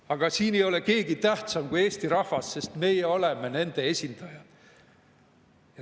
Aga siin ei ole keegi tähtsam kui eesti rahvas, sest meie oleme nende esindajad.